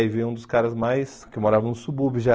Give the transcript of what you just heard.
Aí veio um dos caras mais... Que morava no subúrbio já.